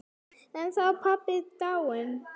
Þá er hann pabbi dáinn.